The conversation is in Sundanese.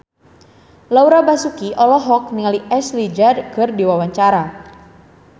Laura Basuki olohok ningali Ashley Judd keur diwawancara